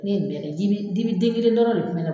Ne nin bɛɛ kɛ dibi dibi den kelen dɔrɔn de kun be ne